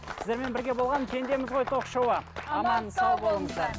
сіздермен бірге болған пендеміз ғой ток шоуы аман сау болыңыздар